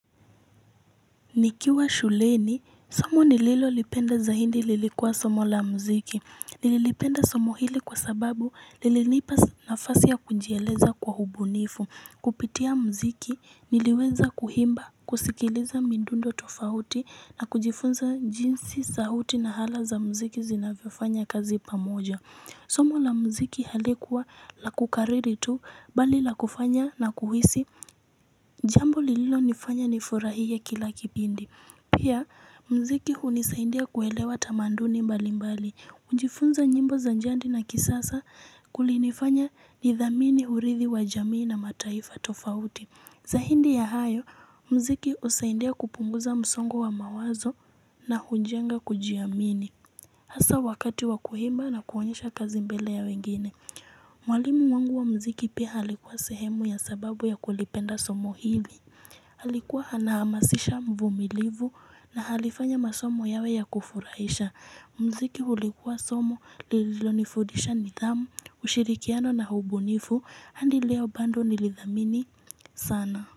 Nikiwa shuleni, somo nililo lipenda za hindi lilikuwa somo la mziki. Nililipenda somo hili kwa sababu lililipa nafasi ya kunjieleza kwa hubunifu. Kupitia mziki niliweza kuhimba, kusikiliza mindundo tofauti na kujifunza jinsi sahuti na hala za mziki zinafifanya kazi pamoja. Somo la mziki halikuwa la kukariri tu mbali la kufanya na kuhisi jambo lililonifanya nifurahia kila kibindi. Pia mziki hunisaindia kuelewa tamanduni mbali mbali, ujifunza njimbo za njandi na kisasa kulinifanya ni dhamini hurithi wa jamii na mataifa tofauti. Zaindi ya hayo, mziki usaidia kupunguza msongo wa mawazo na hujenga kujiamini. Hasa wakati wakuimba na kuonyesha kazi mbele ya wengine. Mwalimu wangu wa mziki pia alikuwa sehemu ya sababu ya kulipenda somo hivi. Halikuwa anahamasisha mvumilivu na halifanya masomo yawe ya kufuraisha Mziki hulikuwa somo lililonifudisha nidhamu ushirikiano na hubunifu handi leo bando nilidhamini sana.